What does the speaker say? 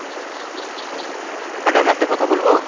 madam একটা কথা বলবো?